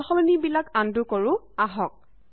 সালসলনি বিলাক আনডু কৰো আহক